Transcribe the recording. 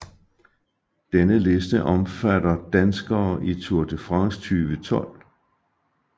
Denne liste omfatter danskere i Tour de France 2012